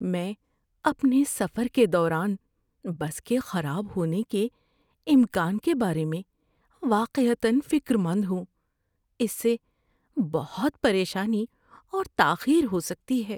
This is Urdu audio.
میں اپنے سفر کے دوران بس کے خراب ہونے کے امکان کے بارے میں واقعتاََ فکر مند ہوں۔ اس سے بہت پریشانی اور تاخیر ہو سکتی ہے۔